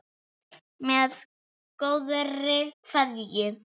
Með góðri kveðju